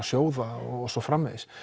sjóða og svo framvegis